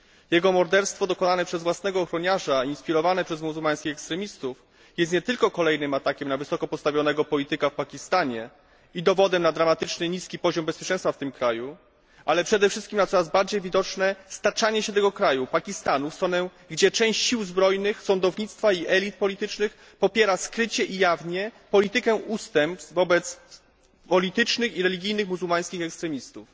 Jego morderstwo dokonane przez własnego ochroniarza, inspirowane przez muzułmańskich ekstremistów, jest nie tylko kolejnym atakiem na wysoko postawionego polityka w Pakistanie i dowodem na dramatycznie niski poziom bezpieczeństwa w tym kraju, ale przede wszystkim na coraz bardziej widoczne staczanie się tego kraju Pakistanu w stronę, gdzie część sił zbrojnych, sądownictwa i elit politycznych popiera skrycie i jawnie politykę ustępstw wobec politycznych i religijnych muzułmańskich ekstremistów.